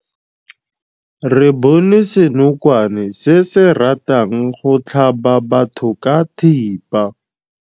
Re bone senokwane se se ratang go tlhaba batho ka thipa.